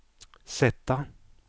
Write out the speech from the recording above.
sätta